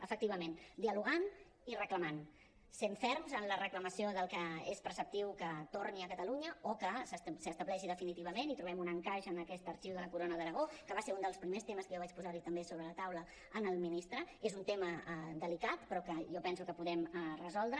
efectivament dialogant i reclamant sent ferms en la reclamació del que és preceptiu que torni a catalunya o que s’estableixi definitivament i trobem un encaix en aquest arxiu de la corona d’aragó que va ser un dels primers temes que jo vaig posar li també sobre la taula al ministre és un tema delicat però que jo penso que podem resoldre